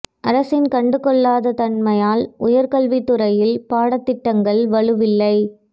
அரசின் கண்டு கொள்ளாத தன்மையால் உயர்கல்வி துறையில் பாடத்திட்டங்கள் வலுவில்லை